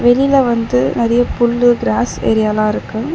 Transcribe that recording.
வெளில வந்து நறைய புல்லு கிராஸ் ஏரியாலா இருக்கு.